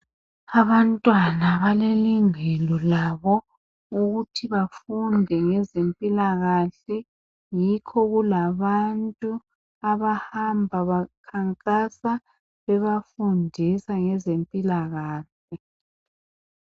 Abantwana balelungelo labo ukuthi bafunde ngezempilakahle .Yikho kulabantu abahamba bakhankasa bebafundisa ngezempilakahle .